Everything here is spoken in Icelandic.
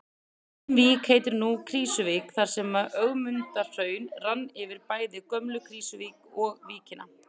Engin vík heitir nú Krýsuvík þar sem Ögmundarhraun rann yfir bæinn Gömlu-Krýsuvík og í víkina.